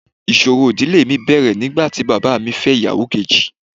Ìṣòro ìdílé mi bẹ̀rẹ̀ nígbà tí bàbá mi fẹ́ ìyàwó kejì.